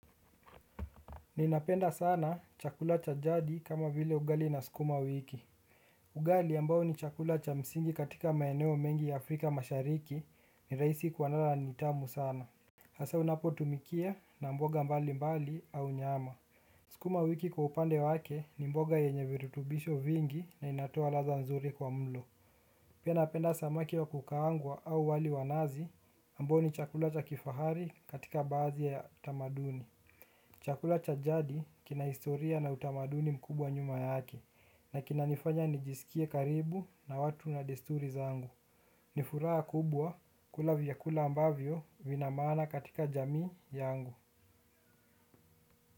Ninapenda sana chakula cha jadi kama vile ugali na skuma wiki. Ugali ambao ni chakula cha msingi katika maeneo mengi ya afrika mashariki ni rahisi kwanda na ni tamu sans hasaa unapotumikia na mboga mbalimbali au nyama sukuma wiki kwa upande wake ni mboga yenye virutubisho mingi na inatoa ladha nzuri kwa mlo. Pia napenda samaki wa kukaangwa au wali wa nazi ambao ni chakula cha kifahari katika badhi ya tamaduni. Chakula cha jadi kina historia na utamaduni mkubwa nyuma yake, na kina nifanya nijisikie karibu na watu na desturi zangu. Nifuraa kubwa kula vyakula ambavyo vina maana katika jamii yangu.